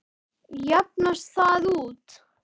Jafnast það út?